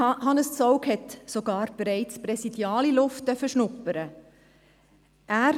Hannes Zaugg durfte bereits präsidiale Luft schnuppern.